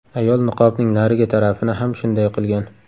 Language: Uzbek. Ayol niqobning narigi tarafini ham shunday qilgan.